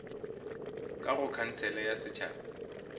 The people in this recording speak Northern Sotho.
ka go khansele ya setšhaba